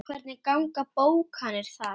Hvernig ganga bókanir þar?